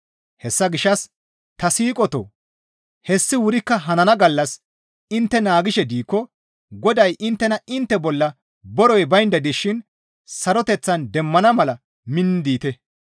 Hessa gishshas ta siiqotoo! Hessi wurikka hanana gallas intte naagishe diikko Goday inttena intte bolla borey baynda dishin saroteththan demmana mala minni diite.